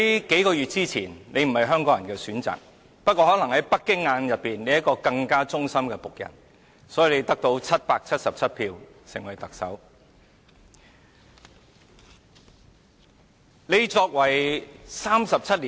數月前，你不是香港人的選擇，不過可能在北京眼中，你是一個更忠心的僕人，因此你得到777票成為特首。